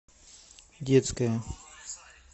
детская